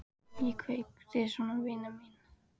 Ég kveð þig svo vina mín.